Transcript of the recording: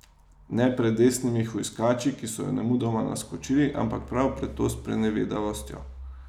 Ne pred desnimi hujskači, ki so jo nemudoma naskočili, ampak prav pred to sprenevedavostjo.